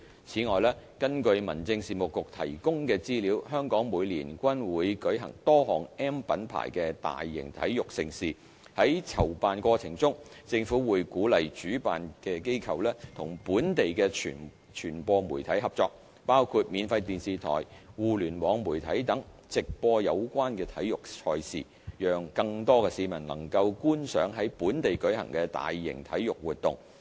此外，根據民政事務局提供的資料，香港每年均會舉行多項 "M" 品牌的大型體育盛事，在籌辦過程中，政府會鼓勵主辦機構與本地的傳播媒體合作，包括免費電視台、互聯網媒體等，直播有關體育賽事，讓更多市民能夠觀賞在本地舉行的大型體育活動。